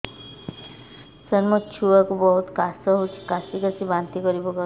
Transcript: ସାର ମୋ ଛୁଆ କୁ ବହୁତ କାଶ ହଉଛି କାସି କାସି ବାନ୍ତି କରି ପକାଉଛି